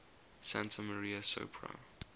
santa maria sopra